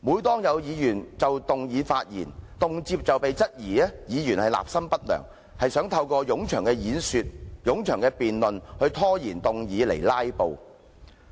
就議案發言的議員，動輒被質疑立心不良，是透過冗長演說、冗長辯論、拖延議案來"拉布"。